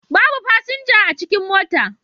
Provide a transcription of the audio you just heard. Babu fasinja a cikin motar